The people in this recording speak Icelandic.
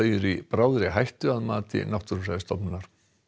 er í bráðri hættu að mati Náttúrufræðistofnunar